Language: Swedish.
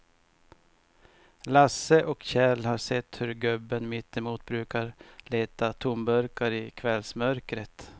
Lasse och Kjell har sett hur gubben mittemot brukar leta tomburkar i kvällsmörkret.